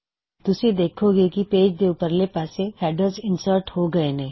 ਤੁਸੀਂ ਦੇਖੋਂਗੇ ਕੀ ਪੇਜ ਦੇ ਉਪਰਲੇ ਪਾਸੇ ਹੈਡਰਜ ਇਨਸਰਟ ਹੋ ਗਏ ਨੇ